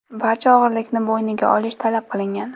Barcha o‘g‘rilikni bo‘yniga olish talab qilingan.